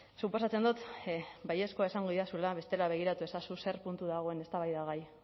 suposatzen dut baiezkoa esango didazula bestela begiratu ezazu ze puntu dagoen eztabaidagai